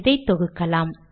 இதை தொகுக்கலாம்